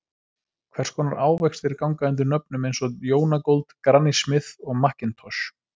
Hvers konar ávextir ganga undir nöfnum eins og Jonagold, Granny Smith og McIntosh?